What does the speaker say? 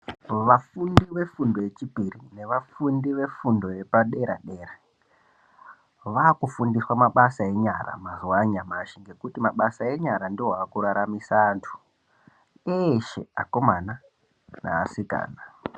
Vafundi ve fundo ye chipiri ne vafundi ve fundo yepa dera dera vaku fundiswa mabasa enyara mazuva anyamashi ngekuti mabasa enyara ndo aku raramisa antu eshe akomana ne asikana.